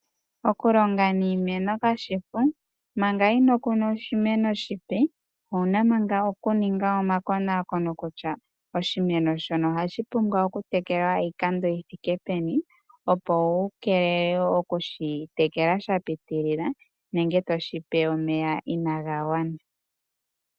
Okulonga niimeno kashishi oshipu. Manga inokuna oshimeno oshipe owuna manga okuninga omakonakono kutya oshimeno shono ohashi pumbwa oku tekelwa iikando yithike peni opo wu keelele okushi tekela sha pitilila nenge toshipe omeya inaga gwana